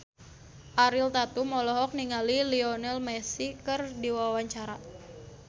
Ariel Tatum olohok ningali Lionel Messi keur diwawancara